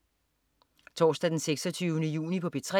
Torsdag den 26. juni - P3: